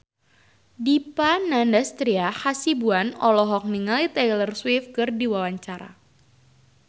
Dipa Nandastyra Hasibuan olohok ningali Taylor Swift keur diwawancara